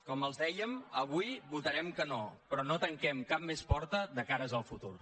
com els dèiem avui votarem que no però no tanquem cap més porta de cara al futur